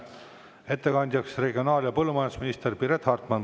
Ettekandjaks palun regionaal‑ ja põllumajandusminister Piret Hartmani.